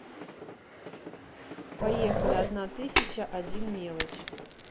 поехали одна тысяча один мелочь